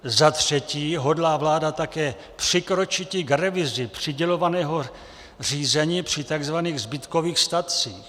Za třetí hodlá vláda také přikročiti k revizi přídělového řízení při tzv. zbytkových statcích.